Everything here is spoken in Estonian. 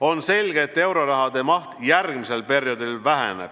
On selge, et euroraha maht järgmisel perioodil väheneb.